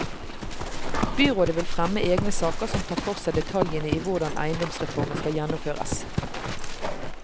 Byrådet vil fremme egne saker som tar for seg detaljene i hvordan eiendomsreformen skal gjennomføres.